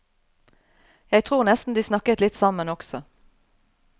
Jeg tror nesten de snakket litt sammen også.